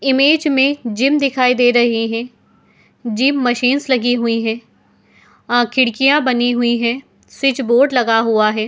Image में gym दिखाई दे रही है। जिम मशीन्स लगी हुई हैं। अ खिड़कियाँ बनी हुई हैं। स्वीच बोर्ड लगा हुआ है।